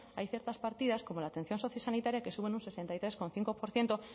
hay ciertas partidas como la atención socio sanitaria que suben un sesenta y tres coma cinco por ciento